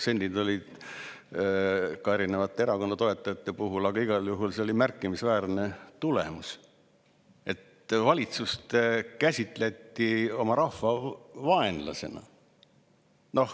Seal olid ka erinevate erakondade toetajate protsendid, aga igal juhul see oli märkimisväärne tulemus, et valitsust käsitleti oma rahva vaenlasena.